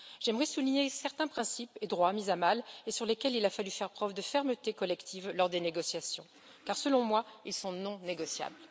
J'aimerais souligner certains principes et droits mis à mal, sur lesquels il a fallu faire preuve de fermeté collective lors des négociations car, selon moi, ils sont non négociables.